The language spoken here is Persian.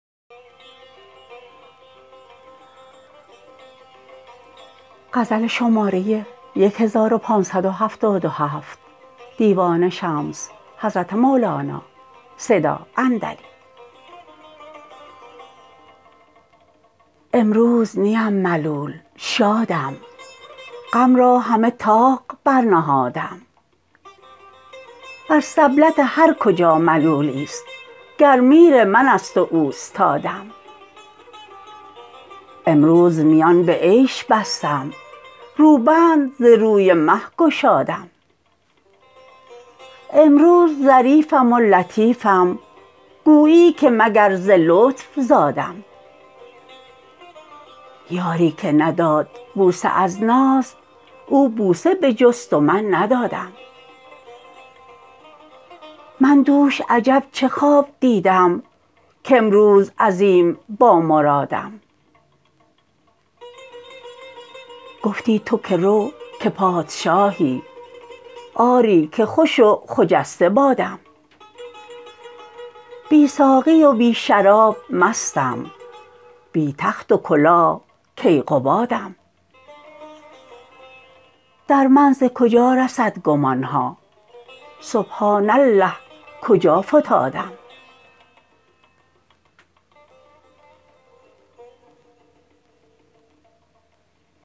امروز نیم ملول شادم غم را همه طاق برنهادم بر سبلت هر کجا ملولی است گر میر من است و اوستادم امروز میان به عیش بستم روبند ز روی مه گشادم امروز ظریفم و لطیفم گویی که مگر ز لطف زادم یاری که نداد بوسه از ناز او بوسه بجست و من ندادم من دوش عجب چه خواب دیدم کامروز عظیم بامرادم گفتی تو که رو که پادشاهی آری که خوش و خجسته بادم بی ساقی و بی شراب مستم بی تخت و کلاه کیقبادم در من ز کجا رسد گمان ها سبحان الله کجا فتادم